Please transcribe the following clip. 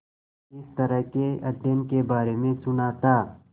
इस तरह के अध्ययन के बारे में सुना था